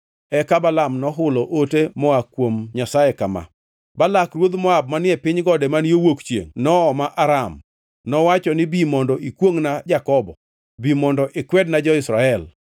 Eka Balaam nohulo ote moa kuom Nyasaye kama: “Balak ruodh Moab manie piny gode man yo wuok chiengʼ nooma Aram. Nowacho ni, ‘Bi mondo ikwongʼna Jakobo; bi mondo ikwedna jo-Israel.’